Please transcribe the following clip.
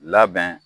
Labɛn